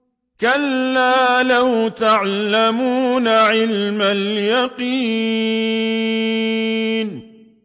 كَلَّا لَوْ تَعْلَمُونَ عِلْمَ الْيَقِينِ